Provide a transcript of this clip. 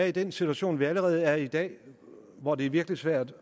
i den situation vi allerede er i i dag hvor det er virkelig svært